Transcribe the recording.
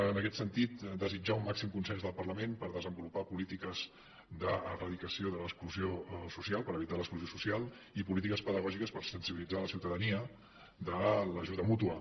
en aquest sentit desitjar un màxim consens del parlament per desenvolupar polítiques d’eradicació de l’exclusió social per evitar l’exclusió social i polítiques pedagògiques per sensibilitzar la ciutadania de l’ajuda mútua